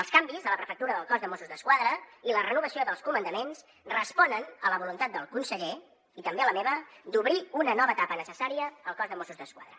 els canvis a la prefectura del cos de mossos d’esquadra i la renovació dels comandaments responen a la voluntat del conseller i també a la meva d’obrir una nova etapa necessària al cos de mossos d’esquadra